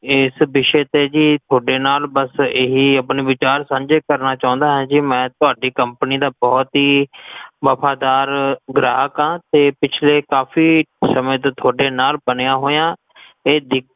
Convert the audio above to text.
ਏਸ ਵਿਸ਼ੇ ਤੇ ਕੀ ਥੋਡੇ ਨਾਲ ਬੱਸ ਇਹੀ ਆਪਣੇ ਵਿਚਾਰ ਸਾਂਜੇ ਕਰਨਾ ਚਉਂਦਾ ਹਾਂ, ਜੇ ਮੈਂ ਤੁਹਾਡੀ ਕਮ੍ਪਨੀ ਦਾ ਬੋਹੋਤ ਹੀ ਵਫ਼ਾਦਾਰ ਗ੍ਰਾਹਕ ਹਾਂ ਤੇ ਪਿਛਲੇ ਕਾਫੀ ਸਮੇ ਤੋਂ ਥੋਡੇ ਨਾਲ ਬਣਿਆ ਹੋਇਆ ਹਾਂ